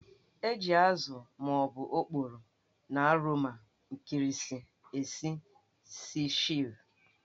Eji ázụ́ ma ọ bụ oporo na oroma nkịrịsị. esi Ceviche